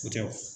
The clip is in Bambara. O tɛ